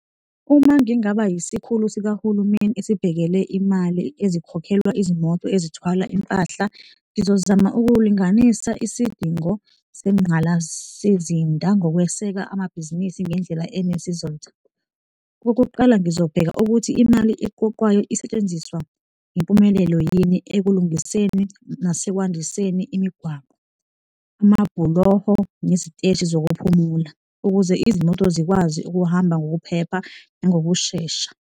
Uma ngingaba isikhulu sikahulumeni esibhekele imali ezikhokhelwa izimoto ezithwala impahla, ngizozama ukulinganisa isidingo zengqalasizinda ngokweseka amabhizinisi ngendlela enesizotha. Okokuqala, ngizobheka ukuthi imali eqoqwayo isetshenziswa ngempumelelo yini ekulungiseni nasekwandiseni imigwaqo, amabhuloho neziteshi zokuphumula, ukuze izimoto zikwazi ukuhamba ngokuphepha nangokushesha.